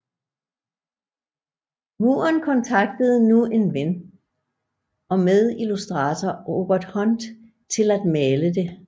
Muren kontaktede nu en ven og medillustrator Robert Hunt til at male det